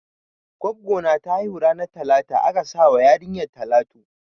Gwaggo na ta haihu ranan talata aka sa wa yarinyar talatu.